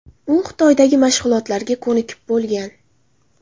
U Xitoydagi mashg‘ulotlarga ko‘nikib bo‘lgan.